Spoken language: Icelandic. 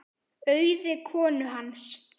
Auði konu hans.